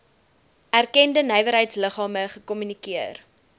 erkende nywerheidsliggame gekommunikeer